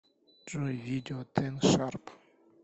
джой видео тен шарп